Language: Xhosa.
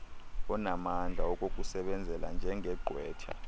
onamandla okukusebenzela njengegqwetha